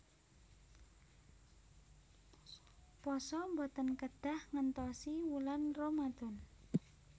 Pasa boten kedah ngentosi wulan ramadhan